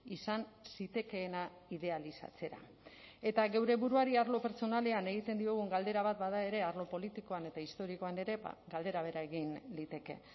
izan zitekeena idealizatzera eta geure buruari arlo pertsonalean egiten diogun galdera bat bada ere arlo politikoan eta historikoan ere galdera bera egin liteke